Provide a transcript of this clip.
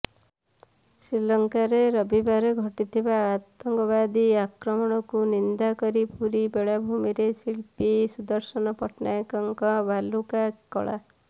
ଶ୍ରୀଲଙ୍କାରେ ରବିବାର ଘଟିଥିବା ଆତଙ୍କବାଦୀ ଆକ୍ରମଣକୁ ନିନ୍ଦା କରି ପୁରୀ ବେଳାଭୂମିରେ ଶିଳ୍ପୀ ସୁଦର୍ଶନ ପଟ୍ଟନାୟକଙ୍କ ବାଲୁକା କଳା